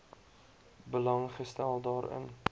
belang gestel daarin